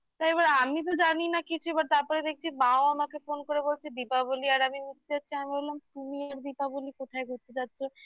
তা এবার আমি তো জানি না কিছু এবার তারপরে দেখছি বাবাও আমাকে phone করে বলছে দীপাবলি আর আমি বললাম তুমি আর দীপাবলি কোথায় ঘুরতে যাচ্ছ